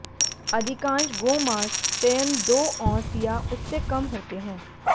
अधिकांश गोमांस चयन दो औंस या उससे कम होते हैं